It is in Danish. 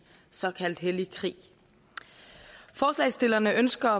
såkaldt hellig krig forslagsstillerne ønsker